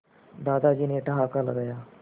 दादाजी ने ठहाका लगाया